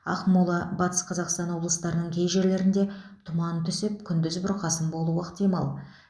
ақмола батыс қазақстан облыстарының кей жерлерінде тұман түсіп күндіз бұрқасын болуы ықтимал